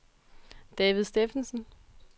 David Steffensen